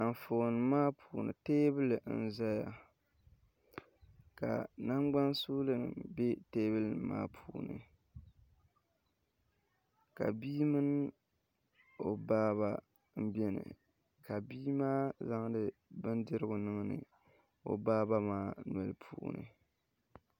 Anfooni maa puuni teebuli n ʒɛya ka nangbani suuli bɛ teebuli maa puuni ka bia mini o baaba n biɛni ka bia maa zaŋdi bindirigu niŋdi o baaba maa noli puuni